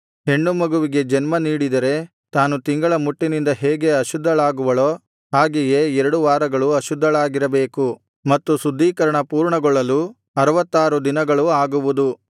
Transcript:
ಹೆಣ್ಣುಮಗುವಿಗೆ ಜನ್ಮ ನೀಡಿದರೆ ತಾನು ತಿಂಗಳ ಮುಟ್ಟಿನಿಂದ ಹೇಗೆ ಅಶುದ್ಧಳಾಗುವಳೋ ಹಾಗೆಯೇ ಎರಡು ವಾರಗಳು ಅಶುದ್ಧಳಾಗಿರಬೇಕು ಮತ್ತು ಶುದ್ಧೀಕರಣ ಪೂರ್ಣಗೊಳ್ಳಲು ಅರುವತ್ತಾರು ದಿನಗಳು ಆಗುವುದು